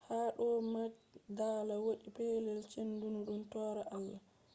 ha doo majdalaa woodi pelel chenudum torata allah